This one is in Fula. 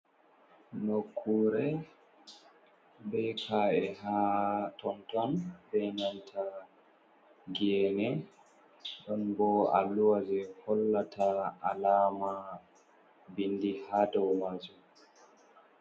Nokkure be ka’e ha tonton be nanta gene don bo alluha je hollata alama bindi ha do majum.